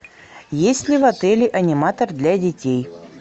есть ли в отеле аниматор для детей